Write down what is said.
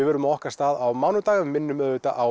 verðum á okkar stað á mánudag en minnum á